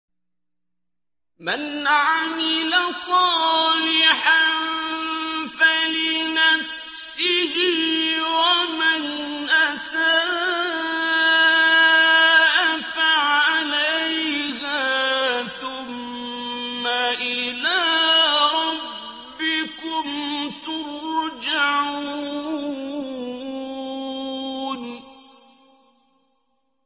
مَنْ عَمِلَ صَالِحًا فَلِنَفْسِهِ ۖ وَمَنْ أَسَاءَ فَعَلَيْهَا ۖ ثُمَّ إِلَىٰ رَبِّكُمْ تُرْجَعُونَ